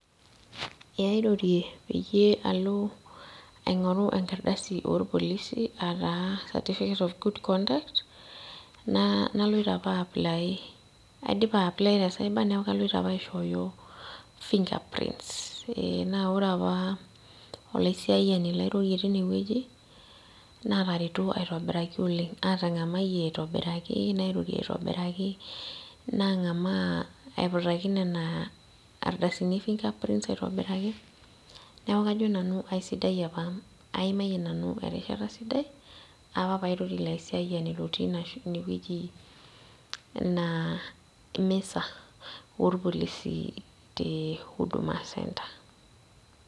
Eh airorie peyie alo aing'oru enkaradai orpolisi ataa certificate of good conduct naa naloito apa ae apply aidipa ae apply te cyber neku kaloito apa aishooyo fingerprints naa ore apa olaisiayiani lairorie tine wueji natareto aitobiraki oleng' atang'amayie nairorie aitobiraki nang'amaa aiputaki nena ardasini e fingerprints aitobiraki neeku kajo nanu aisidai apa aimayie nanu erishata sidai apa pairorie ilo aisiayiani lotii inewueji ina misa orpolisi te huduma centre.